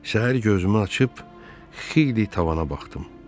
Səhər gözümü açıb xeyli tavana baxdım.